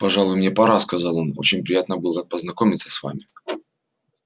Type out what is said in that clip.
пожалуй мне пора сказал он очень приятно было познакомиться с вами